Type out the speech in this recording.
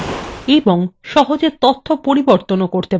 এবং তথ্য সহজে পরিবর্তনও করতে পারেন